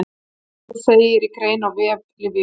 Um hann segir í grein á vef Lyfju.